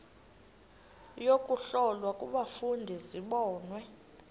yokuhlola kufuneka zibonwe